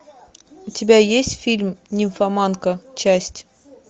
у тебя есть фильм нимфоманка часть